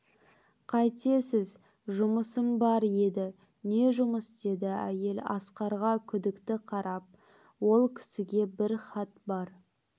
қайтесіз жұмысым бар еді не жұмыс деді әйел асқарға күдікті қарап ол кісіге бір хат бар